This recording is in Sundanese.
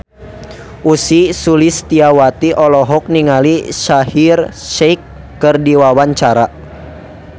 Ussy Sulistyawati olohok ningali Shaheer Sheikh keur diwawancara